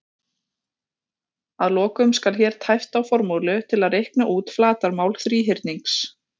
Að lokum skal hér tæpt á formúlu til að reikna út flatarmál þríhyrnings: